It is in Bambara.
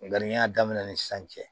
Nka n'i y'a daminɛ ni san cɛ